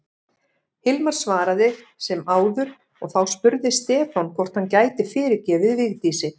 Hilmar svaraði sem áður og þá spurði Stefán hvort hann gæti fyrirgefið Vigdísi.